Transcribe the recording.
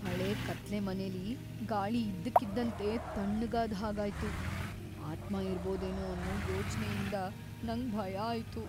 ಹಳೆ ಕತ್ಲೆ ಮನೆಲಿ ಗಾಳಿ ಇದ್ದಕ್ಕಿದ್ದಂತೆ ತಣ್ಣಗಾದ್ ಹಾಗಾಯ್ತು, ಆತ್ಮ ಇರಬೋದೇನೋ ಅನ್ನೋ ಯೋಚ್ನೆ ಯಿಂದ್ ನಂಗ್ ಭಯ ಆಯ್ತು.